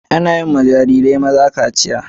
Anayiwa Jarirai maza kaciya